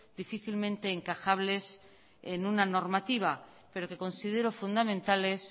difícilmente encajables en una normativa pero que considero fundamentales